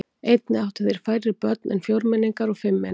Einnig áttu þeir færri börn en fjórmenningar og fimmmenningar.